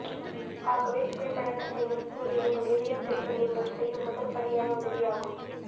ஆகவே புகை பழக்கத்தை நிறுத்துவதே உங்கள் இதயத்திற்கு நீங்கள் செய்யும் முதற்படியான உதவியாகும்